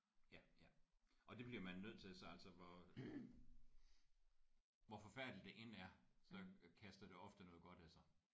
Ja ja og det bliver man nødt til så altså hvor hvor forfærdeligt det end er så kaster det ofte noget godt af sig